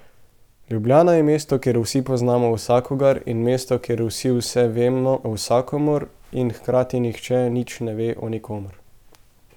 Ljubljana je mesto, kjer vsi poznamo vsakogar, in mesto, kjer vsi vse vemo o vsakomer in hkrati nihče nič ne ve o nikomer.